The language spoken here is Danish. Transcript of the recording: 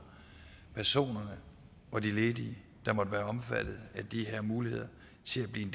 personerne og de ledige der måtte være omfattet af de her muligheder til at blive